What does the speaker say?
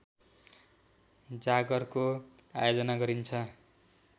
जागरको आयोजना गरिन्छ